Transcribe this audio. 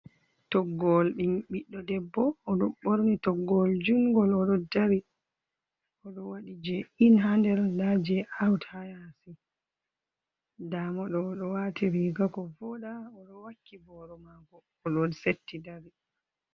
Toggowol ɓin ɓiɗɗo debbo oɗo ɓorni toggowol jungol oɗo dari. Oɗo waɗi je in haa nder, nda je awt haa yaasi. Ndamoɗo oɗo waati riiga maako ko voɗa, oɗo wakki boro maako oɗo setti dari.